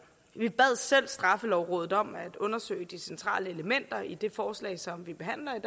vi bad selv straffelovrådet om at undersøge de centrale elementer i det forslag som vi behandler i